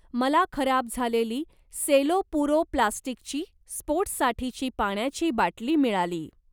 मला खराब झालेली सेलो पुरो प्लास्टिकची स्पोर्ट्ससाठीची पाण्याची बाटली मिळाली.